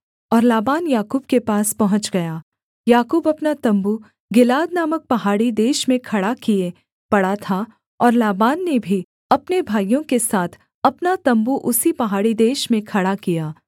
और लाबान याकूब के पास पहुँच गया याकूब अपना तम्बू गिलाद नामक पहाड़ी देश में खड़ा किए पड़ा था और लाबान ने भी अपने भाइयों के साथ अपना तम्बू उसी पहाड़ी देश में खड़ा किया